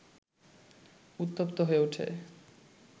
উত্তপ্ত হয়ে ওঠে